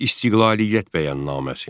İstiqlaliyyət bəyannaməsi.